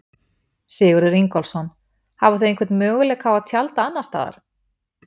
Sigurður Ingólfsson: Hafa þau einhvern möguleika á að tjalda annars staðar?